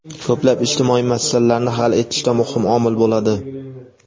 ko‘plab ijtimoiy masalalarni hal etishda muhim omil bo‘ladi.